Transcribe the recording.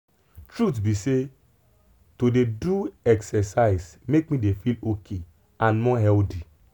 truth be say to dey do exercise make me dey feel ok and more healthy.